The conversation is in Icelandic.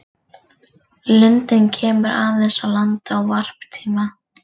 Lundinn kemur aðeins á land á varptíma.